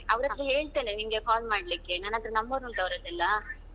ಅವರತ್ರ ಹೇಳ್ತೇನೆ ನಿಂಗೆ call ಮಾಡ್ಲಿಕ್ಕೆ ನನ್ನತ್ರ number ಉಂಟು ಅವರದೆಲ್ಲಾ.